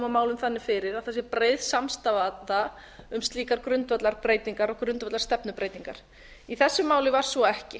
málum þannig fyrir að það sé breið samstaða um slíkar grundvallarbreytingar og grundvallarstefnubreytingar í þessu máli var svo ekki